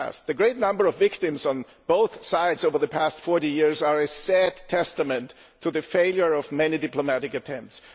The great number of victims on both sides over the past 40 years is a sad testament to the failure of many diplomatic attempts.